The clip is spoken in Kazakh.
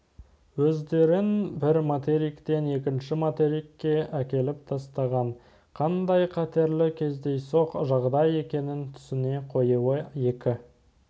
өздерін бір материктен екінші материкке әкеліп тастаған қандай қатерлі кездейсоқ жағдай екеніне түсіне қоюы екі